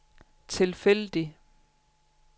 tilfældig